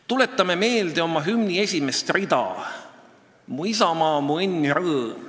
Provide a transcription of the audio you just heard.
Tuletame meelde hümni esimest rida "Mu isamaa, mu õnn ja rõõm".